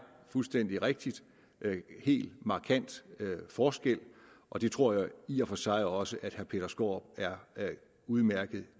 fuldstændig rigtigt en helt markant forskel og det tror jeg i og for sig også at herre peter skaarup er udmærket